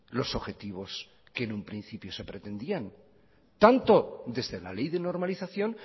los objetivos que en un principio se pretendían tanto desde la ley de normalización